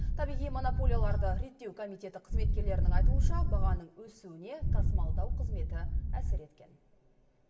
табиғи монополияларды реттеу комитеті қызметкерлерінің айтуынша бағаның өсуіне тасымалдау қызметі әсер еткен